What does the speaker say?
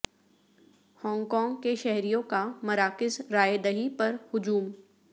Hong Kong کے شہریوں کا مراکز رائے دہی پر ہجوم